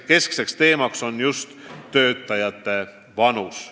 Konverentsi keskne teema on just töötajate vanus.